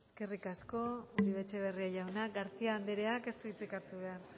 eskerrik asko uribe etxebarria jauna garcía andereak ez du hitzik hartu behar